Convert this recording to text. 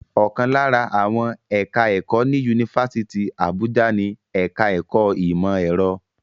Ọ̀kan lára àwọn ẹ̀ka-ẹ̀kọ́ ní Yunifásítì Àbújá ni ẹ̀ka-ẹ̀kọ́ ìmọ̀-ẹ̀rọ.